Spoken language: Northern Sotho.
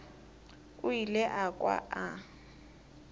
o ile a kwa a